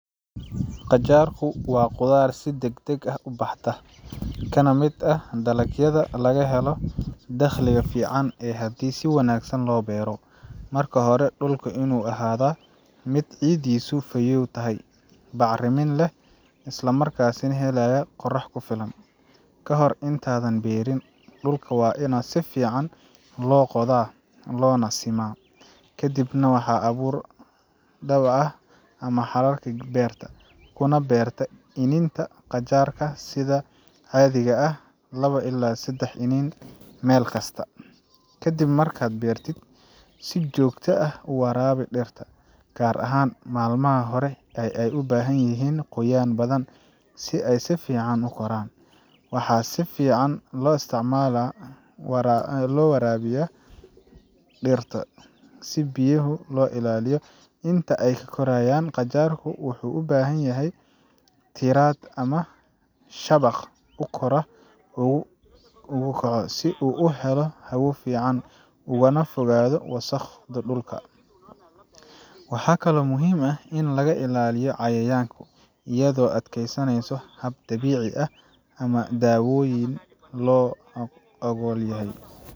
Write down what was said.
Qajaarku waa khudrad si degdeg ah u baxda, kana mid ah dalagyada laga helo dakhli fiican haddii si wanaagsan loo beero. Marka hore, dhulku waa inuu ahaadaa mid ciiddiisu fayoow tahay, bacrinna leh, islamarkaana helaya qorrax ku filan. Ka hor intaadan beeriin, dhulka waa in si fiican loo qodaa oo loona simaa. Ka dib waxaad abuurtaa dhabbaha ama xarkaha beerta, kuna beertaa iniinta qajaar sida caadiga ah labo ilaa sedax iniin meel kasta. Ka dib markaad beerto, si joogto ah u waraabi dhirta, gaar ahaan maalmaha hore oo ay u baahan yihiin qoyaan badan si ay si fiican u koraan. Waxaa si fiican loo warabiya dhirta si biyaha loo ilaaliyo. Inta ay korayaan, qajaarku wuxuu u baahan yahay tiirar ama shabaq uu kor ugu kaco, si uu u helo hawo fiican ugana fogaado wasakhda dhulka. Waxaa kaloo muhiim ah in laga ilaaliyo cayayaanka, iyadoo la adeegsanayo habab dabiici ah ama daawooyin loo oggol yahay.